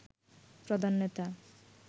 প্রধান নেতা